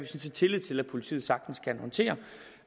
set tillid til at politiet sagtens kan håndtere